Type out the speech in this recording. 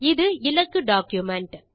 இது இலக்கு டாக்குமென்ட்